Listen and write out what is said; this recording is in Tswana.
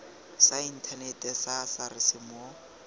sa inthanete sa sars mo